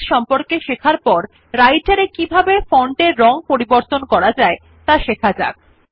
ফন্টের সাইজ সম্পর্কে শেখার পর আমরা কিভাবে রাইটের এ ফন্টের রং পরিবর্তন করতে পারি ত়া শেখা যাক